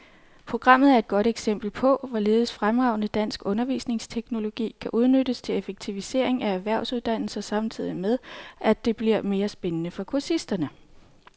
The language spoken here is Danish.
Programmet er et godt eksempel på, hvorledes fremragende dansk undervisningsteknologi kan udnyttes til effektivisering af erhvervsuddannelser samtidig med, at det bliver mere spændende for kursisterne.